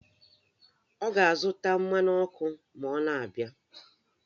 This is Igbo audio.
Ọ ga-azụta mmanụ ọkụ ma ọ na-abịa